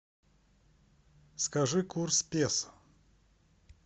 скажи курс песо